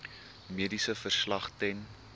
mediese verslag ten